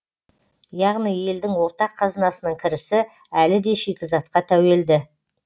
яғни елдің ортақ қазынасының кірісі әлі де шикізатқа тәуелді